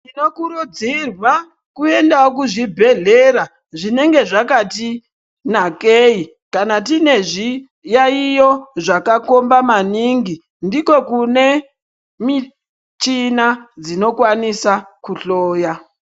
Tinokurudzirwa kuendawo kuzvibhehlera zvinenge zvakati nakayi kana tine zviyayiyo zvakakomba maningi ndiko kune michina dzinokwanisa kuhloya.